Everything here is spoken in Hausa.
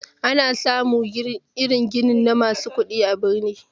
Ana samun ginin irin na masu kudi a birni.